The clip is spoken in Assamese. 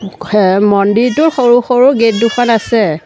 মন্দিৰটোৰ সৰু সৰু গেট দুখন আছে।